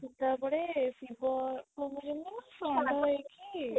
ତାପରେ ଶିବ ହେଇକି